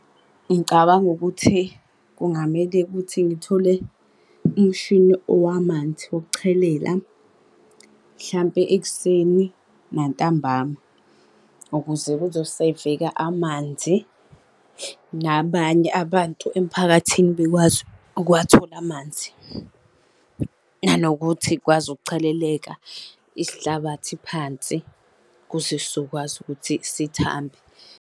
Ngicabanga ukuthi kungamele ukuthi ngithole umshini wamanzi wokuchelela. Mhlampe ekuseni nantambama, ukuze kuzoseveka amanzi, nabanye abantu emphakathini bekwazi ukuwathola amanzi. Nanokuthi zikwazi ukucheleleka isihlabathi phansi, ukuze sizokwazi ukuthi sithambe.